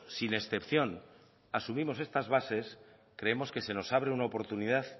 sin excepción asumimos esta bases creemos que se nos abre una oportunidad